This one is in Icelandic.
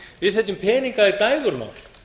við setjum peninga í dægurmál